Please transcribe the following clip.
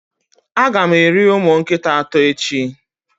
Ága m eri ụmụ nkịta atọ echi